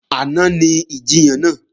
Àná ni ìjiyàn náà